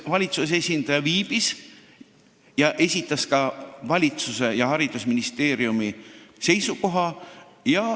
Valitsuse esindaja viibis meie istungil ja esitas ka valitsuse ja haridusministeeriumi seisukoha.